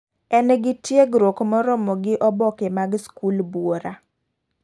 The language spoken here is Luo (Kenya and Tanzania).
En gi tiegruok moromo gi oboke mag skul buora.